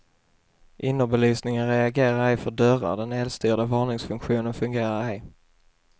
Innerbelysningen reagerar ej för dörrar, den elstyrda varningsfunktionen fungerar ej.